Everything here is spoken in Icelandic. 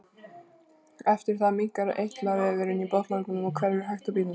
Eftir það minnkar eitlavefurinn í botnlanganum og hverfur hægt og bítandi.